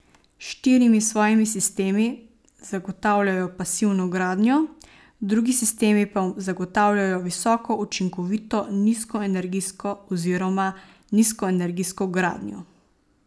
S štirimi svojimi sistemi zagotavljajo pasivno gradnjo, drugi sistemi pa zagotavljajo visoko učinkovito nizkoenergijsko oziroma nizkoenergijsko gradnjo.